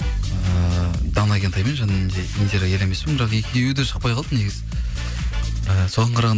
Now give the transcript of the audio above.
ыыы дана кентаймен және де индира елемеспен бірақ екеуі де шықпай қалды негізі і соған